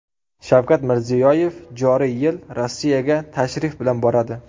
Shavkat Mirziyoyev joriy yil Rossiyaga tashrif bilan boradi.